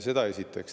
Seda esiteks.